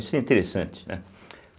Isso é interessante, né.